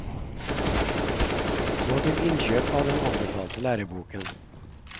Gå til innkjøp av den anbefalte læreboken.